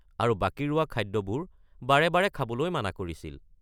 আৰু বাকী ৰোৱা খাদ্যবোৰ বাৰে বাৰে খাবলৈ মানা কৰিছিল।